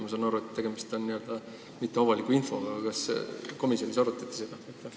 Ma saan aru, et tegemist on mitteavaliku infoga, aga kas komisjonis seda arutati?